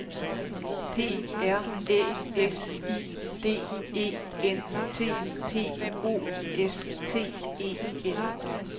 P R Æ S I D E N T P O S T E N